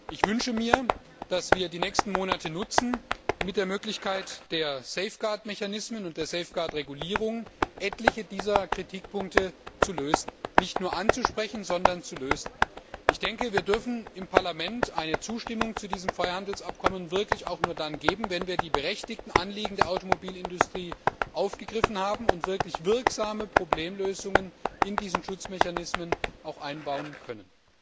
Ich wünsche mir, dass wir die nächsten Monate nutzen, mit der Möglichkeit der Safeguard Mechanismen und der Safeguard Regulierung etliche dieser Kritikpunkte zu lösen, nicht nur anzusprechen, sondern zu lösen. Wir im Parlament dürfen eine Zustimmung zu diesem Freihandelsabkommen wirklich auch nur dann geben, wenn wir die berechtigten Anliegen der Automobilindustrie aufgegriffen haben und auch wirklich wirksame Problemlösungen in diese Schutzmechanismen einbauen können.